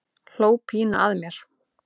Hló pínu að mér.